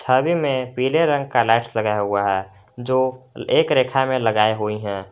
छवि में पीले रंग का लाइट्स लगा हुआ है जो एक रेखा में लगाई हुई हैं।